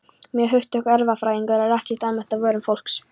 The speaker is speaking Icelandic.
Mörg hugtök erfðafræðinnar eru ekki almennt á vörum fólks.